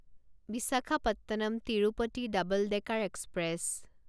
Visakhapatnam Tirupati double decker express